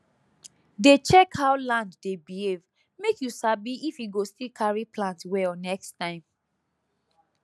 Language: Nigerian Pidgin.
dey check how land dey behave make you sabi if e go still carry plant well next time